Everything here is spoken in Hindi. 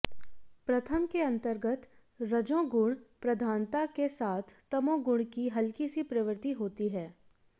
प्रथम के अंतर्गत रजोगुण प्रधानता के साथ तमोगुण की हल्की सी प्रवृत्ति होती है